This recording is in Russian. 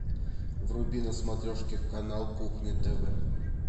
вруби на смотрешке канал кухня тв